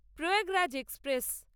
Prayagraj express